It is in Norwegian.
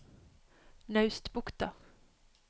Naustbukta